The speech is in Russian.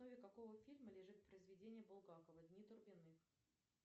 основе какого фильма лежит произведение булгакова дни турбиных